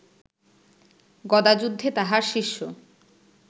গদাযুদ্ধে তাহার শিষ্য